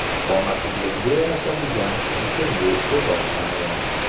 Qomatingizga yarashadigan bichimli libos tanlang.